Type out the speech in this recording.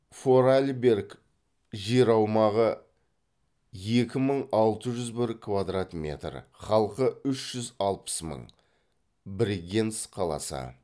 форарльберг жер аумағы екі мың алты жүз бір квадрат метр халқы үш жүз алпыс мың брегенц қаласы